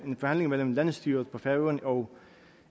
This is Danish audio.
en forhandling mellem landsstyret på færøerne og